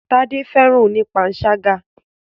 Tádé fẹ́ràn oní panṣágà.